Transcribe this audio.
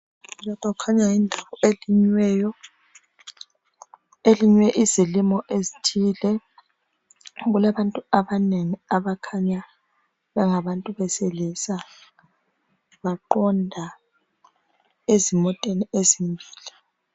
Lapha kukhanya yindawo elinyiweyo, elinywe izilimo ezithile. Kulabantu abanengi abakhanya bengabantu besilisa, baqonda ezimoteni ezimile.